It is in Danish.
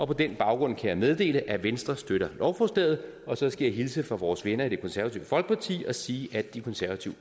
på den baggrund kan jeg meddele at venstre støtter lovforslaget og så skal jeg hilse fra vores venner i det konservative folkeparti og sige at de konservative